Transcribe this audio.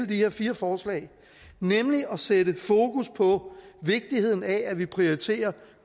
de her fire forslag nemlig at sætte fokus på vigtigheden af at vi prioriterer